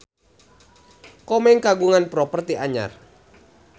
Komeng kagungan properti anyar